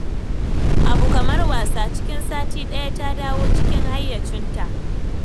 Abun kamar wasa cikin sati daya ta dawo cikin hayyacinta